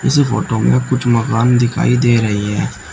इस फोटो में कुछ मकान दिखाई दे रही है।